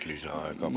Palun!